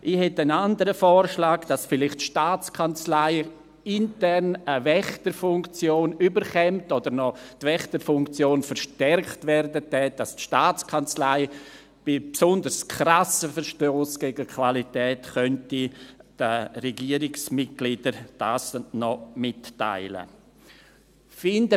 Ich hätte einen anderen Vorschlag, nämlich dass vielleicht die Staatskanzlei intern eine Wächterfunktion erhalten oder die Wächterfunktion noch verstärkt würde, sodass die Staatskanzlei bei besonders krassen Verstössen gegen die Qualität dies den Regierungsmitgliedern mitteilen könnte.